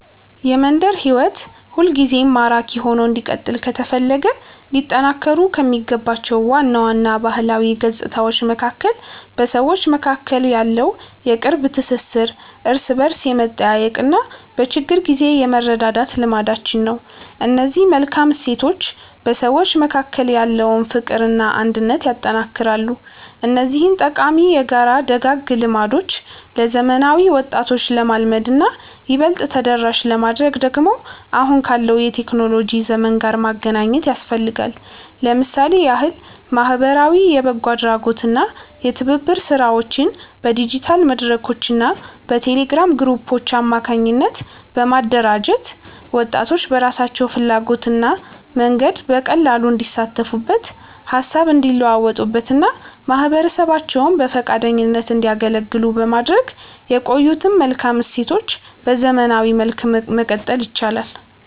የመንደር ሕይወት ሁልጊዜም ማራኪ ሆኖ እንዲቀጥል ከተፈለገ ሊጠናከሩ ከሚገባቸው ዋና ዋና ባህላዊ ገጽታዎች መካከል በሰዎች መካከል ያለው የቅርብ ትሥሥር፣ እርስ በርስ የመጠያየቅና በችግር ጊዜ የመረዳዳት ልማዳችን ነው። እነዚህ መልካም እሴቶች በሰዎች መካከል ያለውን ፍቅርና አንድነት ያጠነክራሉ። እነዚህን ጠቃሚ የጋራ ደጋግ ልማዶች ለዘመናዊ ወጣቶች ለማልመድና ይበልጥ ተደራሽ ለማድረግ ደግሞ አሁን ካለው የቴክኖሎጂ ዘመን ጋር ማገናኘት ያስፈልጋል። ለምሳሌ ያህል ማኅበራዊ የበጎ አድራጎትና የትብብር ሥራዎችን በዲጂታል መድረኮችና በቴሌግራም ግሩፖች አማካኝነት በማደራጀት፣ ወጣቶች በራሳቸው ፍላጎትና መንገድ በቀላሉ እንዲሳተፉበት፣ ሃሳብ እንዲለዋወጡበትና ማኅበረሰባቸውን በፈቃደኝነት እንዲያገለግሉ በማድረግ የቆዩትን መልካም እሴቶች በዘመናዊ መልክ ማቀጠል ይቻላል።